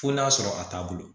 Fo n'a sɔrɔ a t'a bolo